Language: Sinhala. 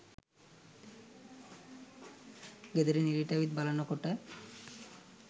ගෙදරින් එළියට ඇවිත් බලනකොට